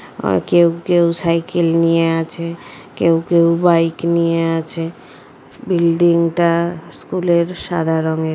আ কেউ কেউ সাইকেল নিয়ে আছে। কেউ কেউ বাইক নিয়ে আছে। বিল্ডিং টা স্কুলের সাদা রঙের।